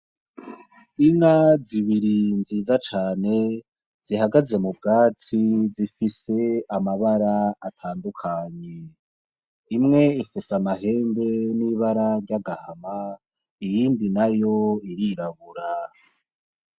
Inka zibiri nziza cane zihagaze mu bwatsi zifise amabara atandukanye. Imwe ifise amahembe n'ibara ry'agahama, iyindi nayo irirabura.